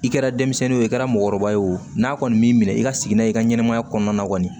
I kɛra denmisɛnnin ye o i kɛra mɔgɔkɔrɔba ye o n'a kɔni m'i minɛ i ka sigi n'a ye i ka ɲɛnɛmaya kɔnɔna kɔni